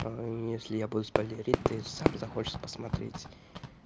если я буду спойлерить ты сам захочешь посмотреть